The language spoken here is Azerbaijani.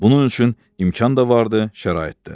Bunun üçün imkan da vardı, şərait də.